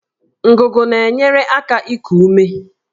Ngụgụ na-enyere aka iku ume